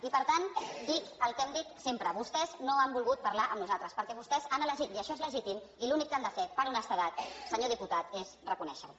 i per tant dic el que hem dit sempre vostès no han volgut parlar amb nosaltres perquè vostès han elegit i això és legítim i l’únic que han de fer per honestedat senyor diputat és reconèixer ho